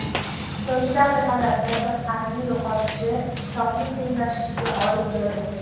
So‘nggi daqiqalarda diqqatni yo‘qolishi hisobni tenglashishiga olib keldi.